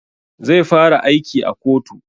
Zai fara aiki a kotu